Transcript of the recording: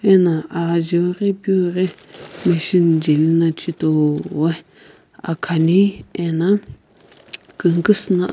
ena ajiu ghi piu ghi machine jeli no chhitoi ani ena kungukusü na.